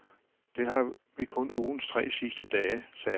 Det har vi kun ugens tre sidste dage, sagde hun.